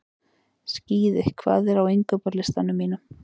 Skíði, hvað er á innkaupalistanum mínum?